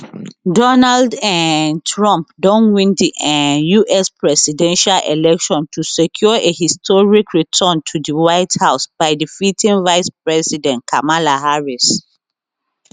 donald um trump don win di um us presidential election to secure a historic return to di white house by defeating vice president kamala harris